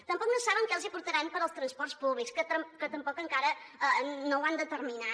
tampoc no saben que els portaran per als transports públics que tampoc encara no ho han determinat